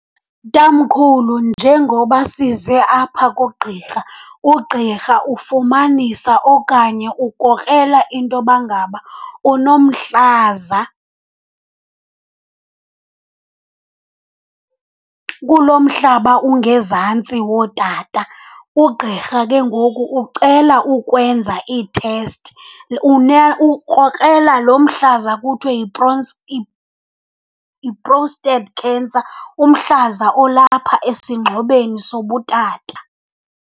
Tamkhulu, njengoba size apha kugqirha ugqirha ufumanisa okanye ukrokrela intoba ngaba unomhlaza kulo mhlaba ungezantsi wootata. Ugqirha ke ngoku ucela ukwenza iithesti, ukrokrela lo mhlaza kuthiwe yi-prostate cancer, umhlaza olapha esingxobeni sobutata.